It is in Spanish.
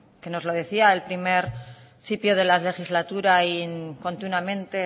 que nos lo decía al principio de la legislatura y continuamente